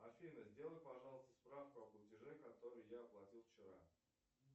афина сделай пожалуйста справку о платеже который я оплатил вчера